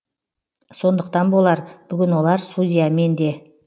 сондықтан болар бүгін олар судьямен де